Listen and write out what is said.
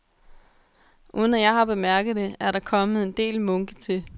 Uden at jeg har bemærket det, er der kommet en del munke til.